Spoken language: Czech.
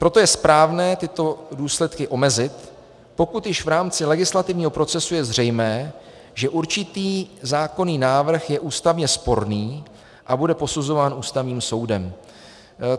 Proto je správné tyto důsledky omezit, pokud již v rámci legislativního procesu je zřejmé, že určitý zákonný návrh je ústavně sporný a bude posuzován Ústavním soudem.